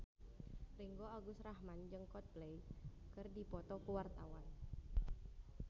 Ringgo Agus Rahman jeung Coldplay keur dipoto ku wartawan